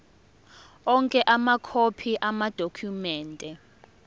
onke amakhophi amadokhumende